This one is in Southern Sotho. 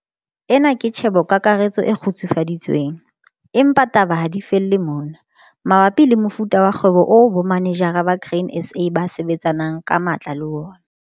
Ena ke tjhebokakaretso e kgutsufaditsweng, empa taba ha di felle mona, mabapi le mofuta wa kgwebo oo bomanejara ba Grain SA ba sebetsanang ka matla le wona.